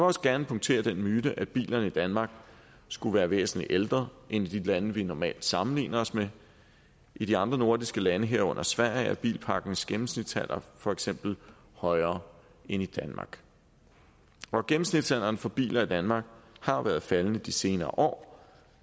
også gerne punktere den myte at bilerne i danmark skulle være væsentlig ældre end biler i de lande vi normalt sammenligner os med i de andre nordiske lande herunder sverige er bilparkens gennemsnitsalder for eksempel højere end i danmark gennemsnitsalderen for biler i danmark har været faldende de senere år og